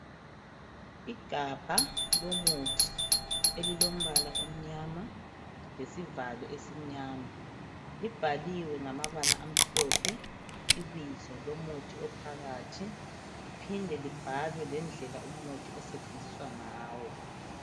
Igabha lomuthi elilombala omnyama lesivalo esimnyama libhaliwe ngamabala amhlophe ibizo lomuthi ophakathi liphinde libhalwe lendlela umuthi osetshenziswa ngawo.